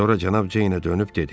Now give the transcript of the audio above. Sonra Cənab Ceynə dönüb dedi: